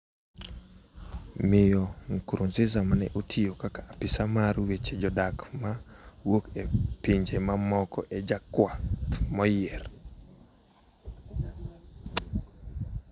Miyo Nkurunziza ma ne otiyo kaka apisa mar weche jodak ma wuok e pinje mamoko, e jakuath moyier